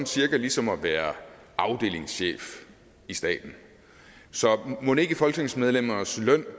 cirka ligesom at være afdelingschef i staten så mon ikke folketingsmedlemmernes løn